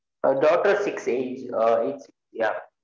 daughter six eight யீஹ்